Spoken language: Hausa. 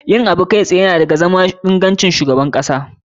Yin abu kai tsaye na ɗaya da ga cikin ingancin zama shugaban kasa.